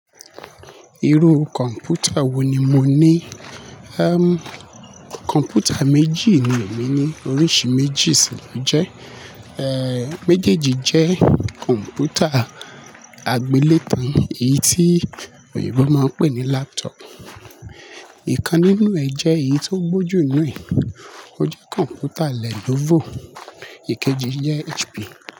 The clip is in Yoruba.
Irú kọ̀ǹpútà wò ní mọ ní? Ẹm, kọ̀ǹpútà méjì ni èmi ní, oríṣìí méjì sì lọ jẹ́. Ẹ́, méjèèjì jẹ́ kọ̀ǹpútà àgbélétan, èyí tí èro máa ń pè ní laptop. Ìkan nínú ẹ̀ jẹ́ èyí tó gbó jù nínú ẹ̀. Ó jẹ́ kọ̀ǹpútà Lenovo, èkejì jẹ́ HP.